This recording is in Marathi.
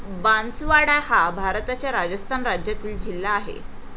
बांसवाडा हा भारताच्या राजस्थान राज्यातील जिल्हा आहे.